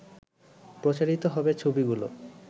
প্রচারিত হবে ছবিগুলো